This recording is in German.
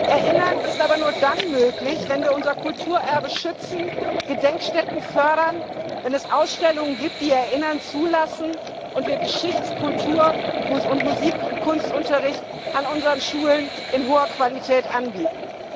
Erinnern ist aber nur dann möglich, wenn wir unser Kulturerbe schützen, Gedenkstätten fördern, wenn es Ausstellungen gibt, die Erinnern zulassen, und wir Geschichts Kultur und Musik und Kunstunterricht an unseren Schulen in hoher Qualität anbieten.